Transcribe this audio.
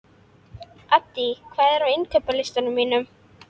Addý, hvað er á innkaupalistanum mínum?